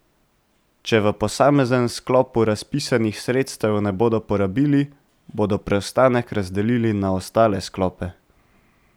Če v posameznem sklopu razpisanih sredstev ne bodo porabili, bodo preostanek razdelili na ostale sklope.